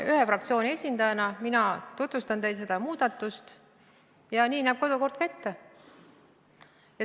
Ühe fraktsiooni esindajana mina tutvustan teile seda eelnõu ja nii näeb ka kodukord ette.